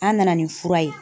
An nana ni fura ye.